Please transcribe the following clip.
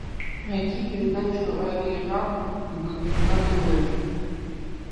найти передачу ариранг на тв